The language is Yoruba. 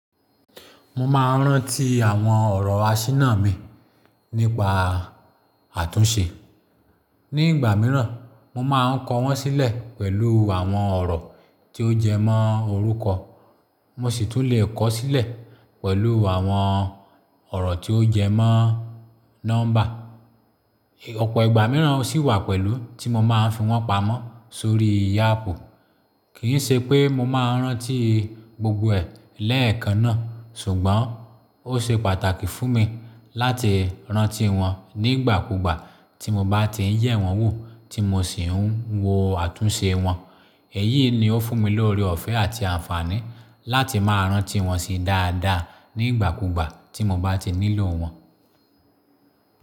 Mo máa ń rántí àwọn ọ̀rọ̀ aṣínà mi nípa àtúnṣe. Ní ìgbà mìíràn, mo máa ń kọ wọ́n sílẹ̀ pẹ̀lú àwọn ọ̀rọ̀ tí ó jẹ mọ́ orúkọ, mo sì tún lè kọ sílẹ̀ pẹ̀lú àwọn ọ̀rọ̀ tí ó jẹ mọ́ nọ́mbà. Ọ̀pọ̀ ìgbà mìíràn sì wà pẹ̀lú tí mo máa ń fi wọ́n pamọ́ sórí áápu. Kì í ṣe pé mo máa ń rántí gbogbo ẹ̀ lẹ́ẹ̀kan náà, ṣùgbọ́n ó ṣe pàtàkì fún mi láti rántí wọn nígbàkúgbà tí mo bá ti ń yẹ̀ wọ́n wo tí mo sì ń wo àtúnṣe wọn. Èyí ni ó fún mi l'ore-ọ̀fẹ́ àti àǹfààní láti máa rántí wọn si dáadáa nígbàkúgbà tí mo bá ti nílò wọn.